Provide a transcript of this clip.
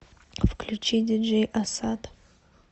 включи диджей ассад